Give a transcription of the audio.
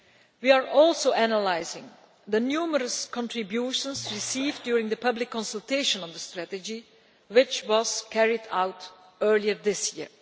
We are also analysing the numerous contributions received during the public consultation on the strategy, which was carried out earlier this year.